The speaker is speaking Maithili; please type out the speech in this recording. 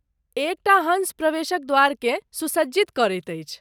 एक टा हँस प्रवेश द्वारकेँ सुसज्जित करैत अछि।